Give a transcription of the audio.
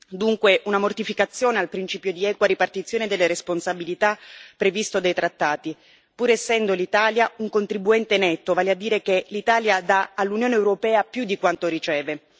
Dunque una mortificazione al principio di equa ripartizione delle responsabilità previsto dai trattati, pur essendo l'Italia un contribuente netto, vale a dire che l'Italia dà all'Unione europea più di quanto riceve.